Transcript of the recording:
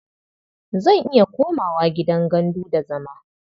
Zan iya komawa gidan gandu da zama.